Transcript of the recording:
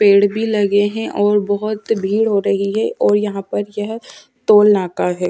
पेड़ भी लगे है और बहुत भीड़ हो रही है और यहां पर यह टोल नाका है।